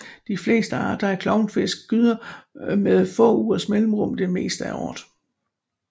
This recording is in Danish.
De fleste arter af klovnfisk gyder med få ugers mellemrum det meste af året